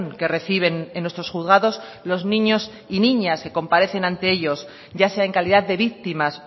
que reciben en nuestros juzgados los niños y niñas que comparecen ante ellos ya sea en calidad de víctimas